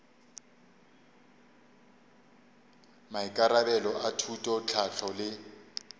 maikarabelo a thuto tlhahlo le